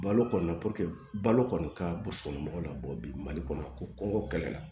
Balo kɔni na balo kɔni ka burusi kɔnɔ mɔgɔw la bɔ bi mali kɔnɔ ko kɛlɛ la